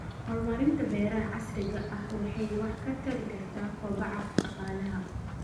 Horumarinta beeraha casriga ah waxay wax ka tari kartaa kobaca dhaqaalaha.